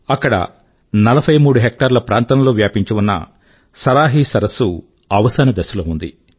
ఇక్కడ 43 హెక్టార్ల ప్రాంతం లో వ్యాపించి ఉన్న సరాహీ సరస్సు తన అవసాన దశ లో ఉంది